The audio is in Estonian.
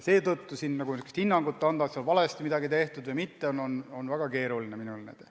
Seetõttu anda hinnangut, on seal midagi valesti tehtud või mitte, on mul väga keeruline.